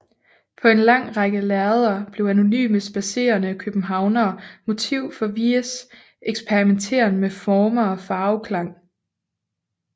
På en lang række lærreder blev anonyme spadserende københavnere motiv for Weies eksperimenteren med former og farveklange